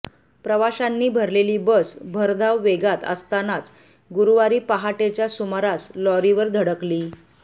प्रवाशांनी भरलेली बस भरधाव वेगात असतानाच गुरुवारी पहाटेच्या सुमारास लॉरीवर धडकली